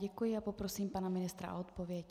Děkuji a poprosím pana ministra o odpověď.